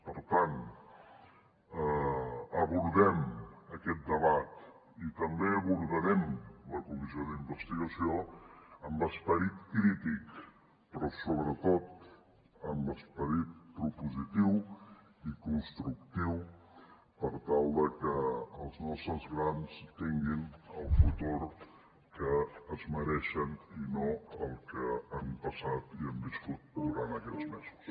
per tant abordem aquest debat i també abordarem la comissió d’investigació amb esperit crític però sobretot amb esperit propositiu i constructiu per tal de que els nostres grans tinguin el futur que es mereixen i no el que han passat i hem viscut durant aquests mesos